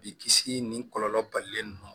Bi kisi ni kɔlɔlɔ balilen no